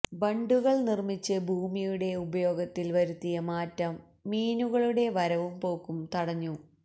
ബണ്ടുകൾ നിർമിച്ച് ഭൂമിയുടെ ഉപയോഗത്തിൽ വരുത്തിയ മാറ്റം മീനുകളുടെ വരവും പോക്കും തടഞ്ഞു